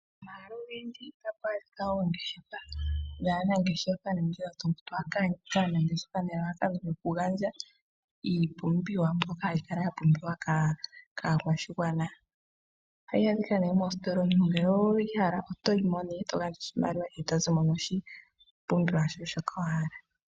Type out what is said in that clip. Omahala ogendji otapu adhika oongeshefa, yaanangeshefa nenge yotumba nelalakano lyokugandja iipumbiwa mbyoka hayi kala yapumbiwa kaakwashigwana, ohayi adhika nee meesitola omuntu ngele oweshi hala, otoyi mo nee eto gandja oshimaliwa eto zimo noshipumbiwa shoye shoka wahala.